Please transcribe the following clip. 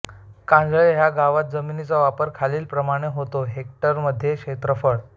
कांजळे ह्या गावात जमिनीचा वापर खालीलप्रमाणे होतो हेक्टरमध्ये क्षेत्रफळ